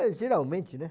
É, geralmente, né?